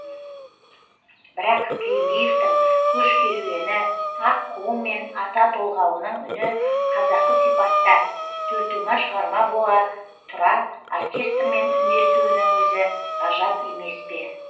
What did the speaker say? бірақ тілендиевтің көш керуені аққуы мен ата толғауының үні қазақы сипатта төлтума шығарма бола тұра оркестрмен үндесуінің өзі ғажап емес пе